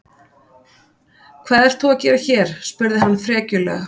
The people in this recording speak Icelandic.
Hvað ert þú að gera hér? spurði hann frekjulega.